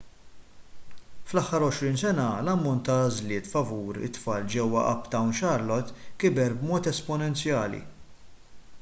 fl-aħħar 20 sena l-ammont ta' għażliet favur it-tfal ġewwa uptown charlotte kiber b'mod esponenzjali